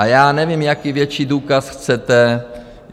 A já nevím, jaký větší důkaz chcete.